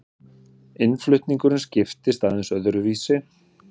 Innflutningurinn skiptist aðeins öðruvísi.